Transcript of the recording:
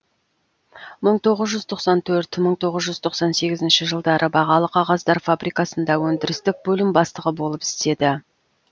мың тоғыз жүз тоқсан төрт мың тоғыз жүз тоқсан сегізінші жылдары бағалы кағаздар фабрикасында өндірістік бөлім бастығы болып істеді